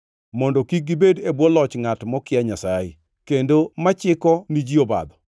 mondo kik gibed e bwo loch ngʼat mokia Nyasaye, kendo machiko ni ji obadho.